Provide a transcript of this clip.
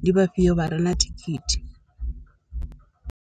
ndi vha fhio vha re na thikhithi.